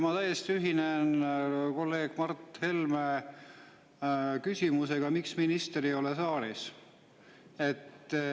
Ma täiesti ühinen kolleeg Mart Helme küsimusega, et miks minister ei ole saalis.